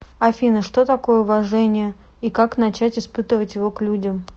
афина что такое уважение и как начать испытывать его к людям